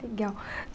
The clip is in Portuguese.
Legal.